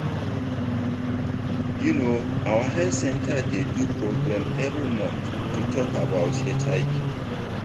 you know our health center dey do program every month to talk about hiv